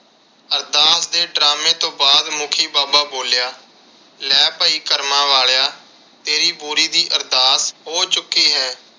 ਅਰਦਾਸ ਦੇ drama ਤੋਂ ਬਾਅਦ ਮੁਖੀ ਬਾਬਾ ਬੋਲਿਆ, ਲੈ ਭਾਈ ਕਰਮਾ ਵਾਲਿਆਂ ਤੇਰੀ ਬੋਰੀ ਦੀ ਅਰਦਾਸ ਹੋ ਚੁੱਕੀ ਹੈ।